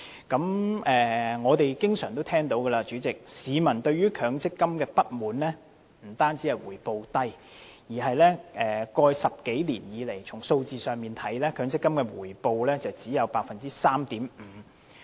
主席，我們經常聽到市民對強積金表示不滿，不但因為回報低，而且過去10多年來，從數字來看，強積金的回報率只有 3.5%。